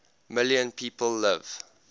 million people live